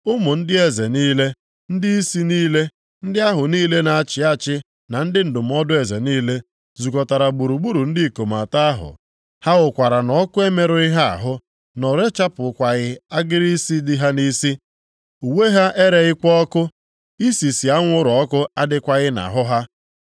Ụmụ ndị eze niile, ndịisi niile, ndị ahụ niile na-achị achị na ndị ndụmọdụ eze niile, zukọtara gburugburu ndị ikom atọ ahụ, ha hụkwara na ọkụ emerụghị ha ahụ, na o rechapụghịkwa agịrị isi dị ha nʼisi, uwe ha ereghịkwa ọkụ, isisi anwụrụ ọkụ adịghịkwa nʼahụ ha.